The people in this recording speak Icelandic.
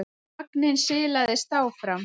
Vagninn silaðist áfram.